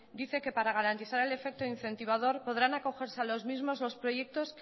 dice que para garantizar el efecto incentivador podrán acogerse a los mismos los proyectos